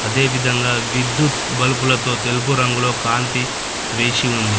అదే విధంగా విద్యుత్ బలుపులతో తెలుపు రంగులో కాంతి వేసి ఉంది.